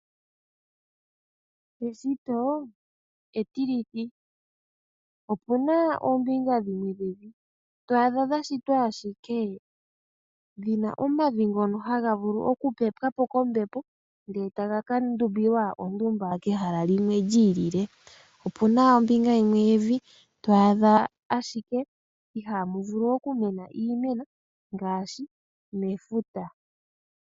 Eshito etilithi. Opuna oombinga dhimwe dhevi to adha dhashitwa ashike dhina omavi ngono hagavulu oku pepwapo kombepo ndele taga ka ndumbilwa ondumba kehala limwe li ili. Opuna ombinga yimwe yevi ihamu vulu ashike okumena iimeno ngaashi mefuta.